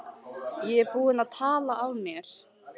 Ég er búinn að tala af mér.